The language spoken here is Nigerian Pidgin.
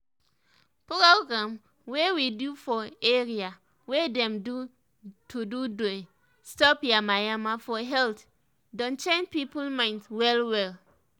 program wey we do for area wey dem do to deh stop yamayama for health don change people mind well well